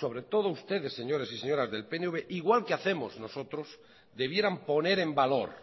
sobre todo ustedes señores y señoras del pnv igual que hacemos nosotros debieran poner en valor